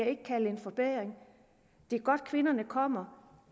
ikke kalde en forbedring det er godt kvinderne kommer